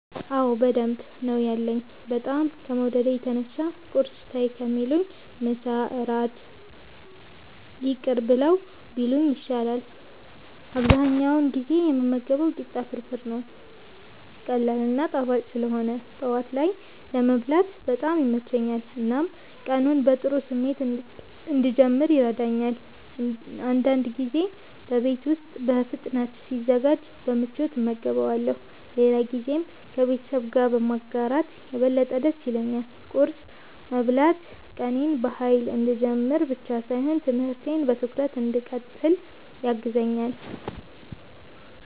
አዎ በደንብ ነው ያለኝ፤ በጣም ከመውደዴ የተነሳ ቁርስ ተይ ከሚሉኝ ምሳና እራት ይቅር ብለው ቢሉኝ ይሻላል። አብዛኛውን ጊዜ የምመገበው ቂጣ ፍርፍር ነው። ቀላል እና ጣፋጭ ስለሆነ ጠዋት ላይ ለመብላት በጣም ይመቸኛል፣ እናም ቀኔን በጥሩ ስሜት እንድጀምር ይረዳኛል። አንዳንድ ጊዜ በቤት ውስጥ በፍጥነት ሲዘጋጅ በምቾት እመገበዋለሁ፣ ሌላ ጊዜም ከቤተሰብ ጋር በማጋራት የበለጠ ደስ ይለኛል። ቁርስ መብላት ቀኔን በኃይል እንድጀምር ብቻ ሳይሆን ትምህርቴን በትኩረት እንድቀጥል ያግዘኛል።